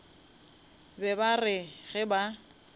be ba re ge ba